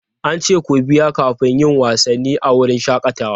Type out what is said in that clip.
An ce ku biya kafin yin wasanni a wurin shakatawa?